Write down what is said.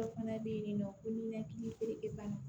Dɔw fana bɛ yen nin nɔ ko ninakili bana